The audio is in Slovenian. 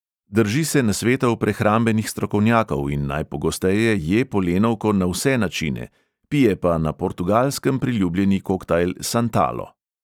Drži se nasvetov prehrambenih strokovnjakov in najpogosteje je polenovko na vse načine, pije pa na portugalskem priljubljeni koktajl santalo.